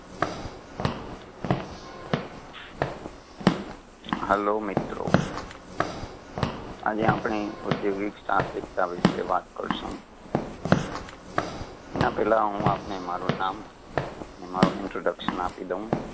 hello મિત્રો, આજે આપણે ઉધ્યોગિક સાહસિકતા વિષે વાત કરશું, એના પેલા હું આપને મારુ નામ ને મારુ introduction આપી દઉ.